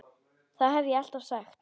Það hef ég alltaf sagt.